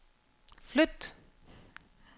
flyt